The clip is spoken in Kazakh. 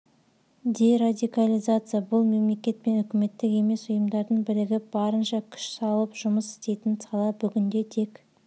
дерадикализация бұл мемлекет пен үкіметтік емес ұйымдардың бірігіп барынша күш салып жұмыс істейтін сала бүгінде тек